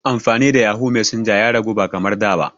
Amfani da yahoo messenger ya ragu ba kamar da ba.